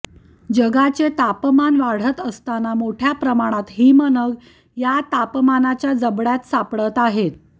जगाचे तापमान वाढत असताना मोठ्या प्रमाणात हिमनग या तापमानाच्या जबड्यात सापडत आहेत